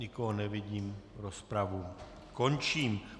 Nikoho nevidím, rozpravu končím.